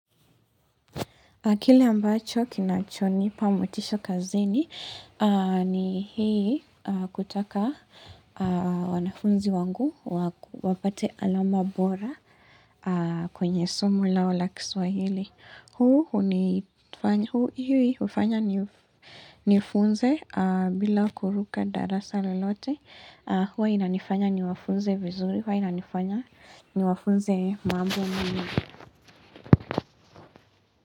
Kile ambacho kinachonipa motisha kazini aaaa ni hii kutaka wanafunzi wangu wapate alama bora kwenye somu lao la kiswahili. Huu hunii hufanya hii hufanya nifunze aaaa bila kuruka darasa lolote Huwa inanifanya niwafunze vizuri huwa inanifanya ni wafunze mambo mingi.